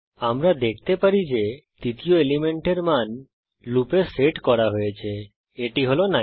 আমরা দেখতে পারি যে তৃতীয় এলিমেন্টের মান লুপে সেট করা হয়েছে এবং এটি হল 9